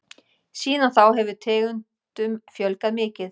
Síðan þá hefur tegundum fjölgað mikið.